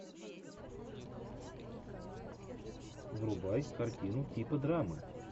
врубай картину типа драмы